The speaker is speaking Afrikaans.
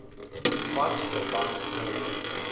wat verband hou